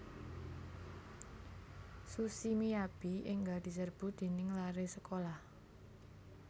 Sushi Miyabi enggal diserbu dening lare sekolah